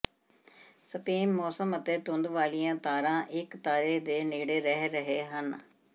space ਮੌਸਮ ਅਤੇ ਧੁੱਪ ਵਾਲੀਆਂ ਤਾਰਾਂ ਇੱਕ ਤਾਰੇ ਦੇ ਨੇੜੇ ਰਹਿ ਰਹੇ ਹਨ